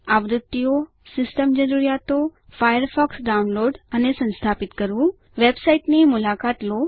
આવૃત્તિઓ સિસ્ટમ જરૂરિયાતો Firefox download અને સંસ્થાપિત કરવું વેબસાઇટ ની મુલાકાત લો